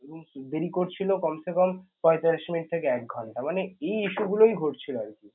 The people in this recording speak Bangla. দেরি করছিল কমছে কম পয়তাল্লিশ minute থেকে এক ঘণ্টা মানে এই issue গুলোই ঘটছিল আরকি